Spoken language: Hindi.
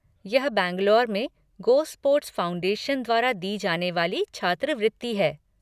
यह बैंगलोर में गोस्पोर्ट्स फ़ाउंडेशन द्वारा दी जाने वाली छात्रवृत्ति है।